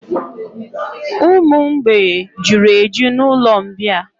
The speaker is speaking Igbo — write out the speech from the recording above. Ụmụ mgbei juru eju na'ụlọ mbịà